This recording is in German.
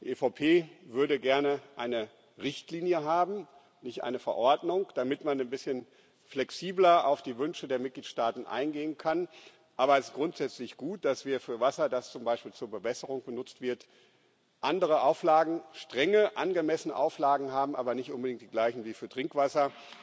Die EVP würde gerne eine Richtlinie haben nicht eine Verordnung damit man ein bisschen flexibler auf die Wünsche der Mitgliedstaaten eingehen kann. Aber es ist grundsätzlich gut, dass wir für Wasser, das zum Beispiel zur Bewässerung genutzt wird, andere Auflagen strenge, angemessene Auflagen haben, aber nicht unbedingt die gleichen wie für Trinkwasser.